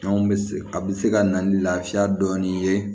Anw bɛ se a bɛ se ka na ni lafiya dɔɔnin ye